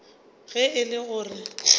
ge e le go re